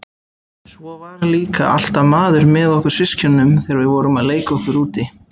Svo var líka alltaf maður með okkur systkinunum þegar við vorum að leika okkur úti.